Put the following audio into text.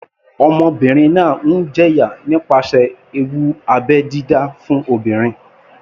Ọmọbìnrin náà ń jẹ̀yà nípasẹ̀ ewu abẹ́ dídá fún obìnrin.